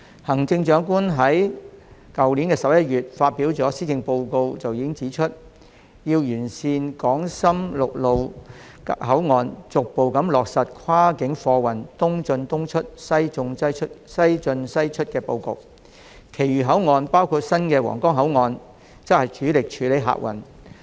行政長官已在去年11月發表的施政報告中指出，要完善港深陸路口岸，逐步落實跨境貨運"東進東出、西進西出"的布局，其餘口岸包括新皇崗口岸則主力處理客運。